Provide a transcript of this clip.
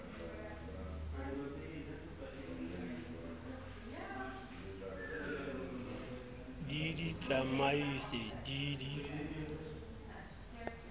di di tsamaise di di